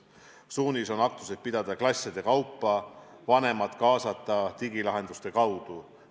Suunis on aktuseid pidada klasside kaupa, vanemad kaasata digilahenduste kaudu.